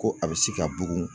Ko a bɛ se ka bugun.